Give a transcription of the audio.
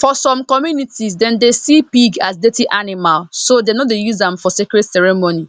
for some communities dem dey see pig as dirty animal so dem no dey use am for sacred ceremony